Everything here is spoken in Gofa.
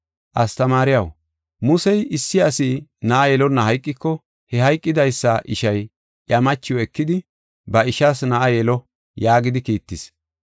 “Astamaariyaw, ‘Musey, issi asi na7a yelonna hayqiko, he hayqidaysa ishay iya machiw ekidi, ba ishaas na7a yelo’ yaagidi kiittis.